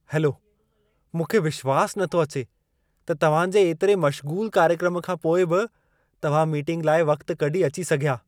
Hello! मूंखे विश्वास नथो अचे त तव्हां जे एतिरे मश्ग़ूल कार्यक्रम खां पोइ बि तव्हां मीटिंग लाइ वक़्तु कढी अची सघिया।